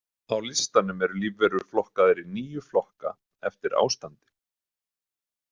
Á listanum eru lífverur flokkaðar í níu flokka eftir ástandi.